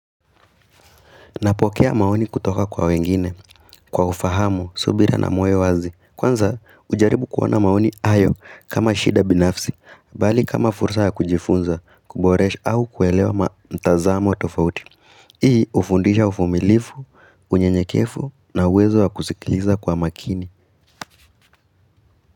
Napokea maoni kutoka kwa wengine, kwa ufahamu, subira na moyo wazi. Kwanza, hujaribu kuona maoni hayo kama shida binafsi, bali kama fursa ya kujifunza, kuboresha au kuelewa mtazamo tofauti. Hii ufundisha uvumilifu, unyenyekefu na uwezo wa kusikiliza kwa makini.